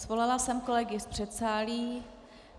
Svolala jsem kolegy z předsálí.